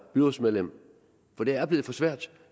byrådsmedlem for det er blevet for svært